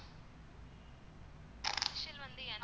initial வந்து N